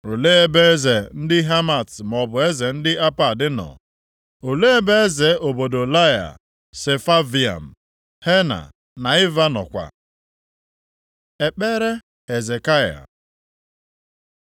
Olee ebe eze ndị Hamat maọbụ eze ndị Apad nọ? Olee ebe eze obodo Lair, Sefavaim, Hena na Iva nọkwa?” Ekpere Hezekaya